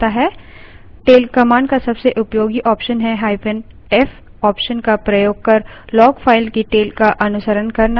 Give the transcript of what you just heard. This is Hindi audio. tail command का सबसे उपयोगी option है –f option का प्रयोग कर log file की tail का अनुसरण करना